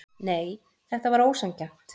Nei, þetta var ósanngjarnt.